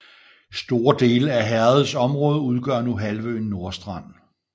Store dele af herredets område udgør nu halvøen Nordstrand